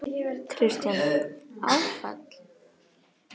Kristján: Áfall?